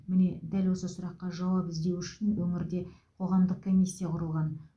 міне дәл осы сұраққа жауап іздеу үшін өңірде қоғамдық комиссия құрылған